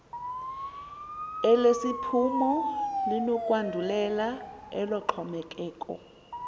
elesiphumo linokwandulela eloxhomekeko